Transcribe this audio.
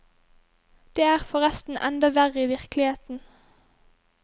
Det er forresten enda verre i virkeligheten.